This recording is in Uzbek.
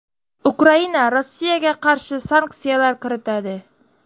Ukraina Rossiyaga qarshi sanksiyalar kiritadi.